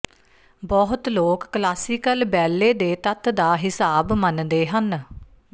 ਬਹੁਤੇ ਲੋਕ classical ballet ਦੇ ਤੱਤ ਦਾ ਹਿਸਾਬ ਮੰਨਦੇ ਹਨ